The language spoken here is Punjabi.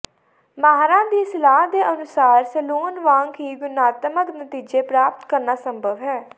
ਮਾਹਰਾਂ ਦੀ ਸਲਾਹ ਦੇ ਅਨੁਸਾਰ ਸੈਲੂਨ ਵਾਂਗ ਹੀ ਗੁਣਾਤਮਕ ਨਤੀਜੇ ਪ੍ਰਾਪਤ ਕਰਨਾ ਸੰਭਵ ਹੈ